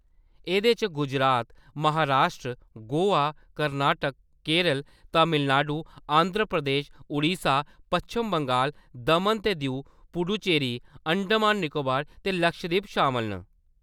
एह्‌‌‌दे च गुजरात, महारास्ट्र, गोआ, कर्नाटक, केरल, तमिलनाडु, आंध्र प्रदेश, ओडिशा, पच्छम बंगाल, दमन ते दीऊ, पुडुचेरी, अंडमान निकोबार ते लक्षद्वीप शामल न।